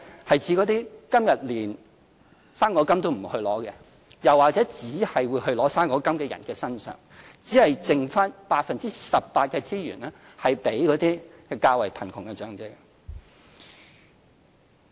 是指那些今天連"生果金"都沒有領取的，又或是只領取"生果金"的人士——只有剩下 18% 的資源給予較貧窮的長者。